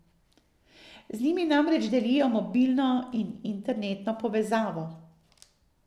Z njimi namreč delijo mobilno in internetno povezavo.